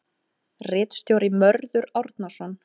Ritstjóri Mörður Árnason.